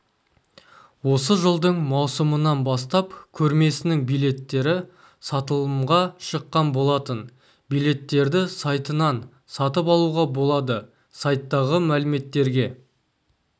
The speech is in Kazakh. осы жылдың маусымынан бастап көрмесінің билеттері сатылымға шыққан болатын билеттерді сайтынан сатып алуға болады сайттағы мәліметтерге